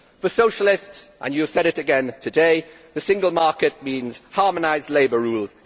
For socialists and you have said it again today the single market means harmonised labour rules.